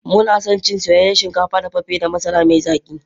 Muna son cin soyayyen shinkafa dafaffe da masara mai zaki.